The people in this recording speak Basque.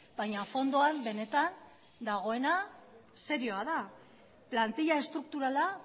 baina fondoan benetan dagoena serioa da plantila estrukturala